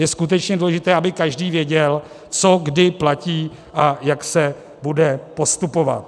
Je skutečně důležité, aby každý věděl, co kdy platí a jak se bude postupovat.